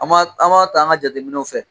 An b'a an b'a ta an ka jateminɛw fɛ.